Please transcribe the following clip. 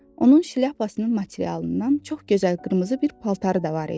Onun şlyapasının materialından çox gözəl qırmızı bir paltarı da var idi.